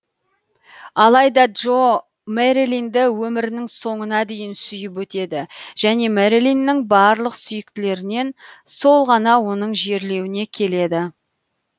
алайда джо мэрилинді өмірінің соңына дейін сүйіп өтеді және мэрилиннің барлық сүйіктілерінен сол ғана оның жерлеуіне келеді